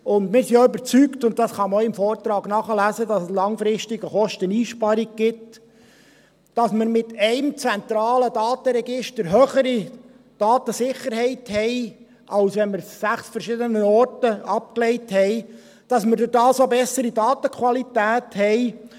Wir sind auch überzeugt – und das kann man auch im Vortrag nachlesen –, dass es langfristig eine Kosteneinsparung gibt, dass wir mit einem zentralen Datenregister höhere Datensicherheit haben, als wenn wir sie an sechs verschiedenen Orten abgelegt haben, und dass man dadurch auch eine bessere Datenqualität hat.